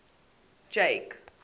jake